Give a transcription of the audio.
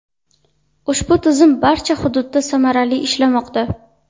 Ushbu tizim barcha hududda samarali ishlamoqda.